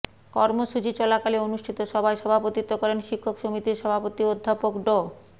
কর্মসূচি চলাকালে অনুষ্ঠিত সভায় সভাপতিত্ব করেন শিক্ষক সমিতির সভাপতি অধ্যাপক ড